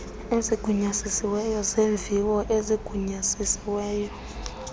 ezigunyazisiweyo zeemviwo ezigunyazisiweyo